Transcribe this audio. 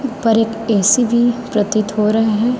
ऊपर एक ए_सी भी प्रतीत हो रहे हैं।